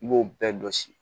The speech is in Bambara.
I b'o bɛɛ dɔ si